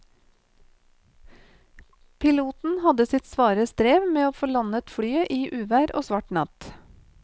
Piloten hadde sitt svare strev med å få landet flyet i uvær og svart natt.